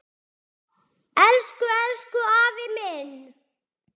Elsku, elsku afi minn.